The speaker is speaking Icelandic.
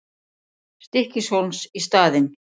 Stykkishólms í staðinn.